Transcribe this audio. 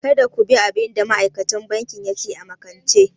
Kada ku bi abin da ma'aikacin banki ya ce a makance!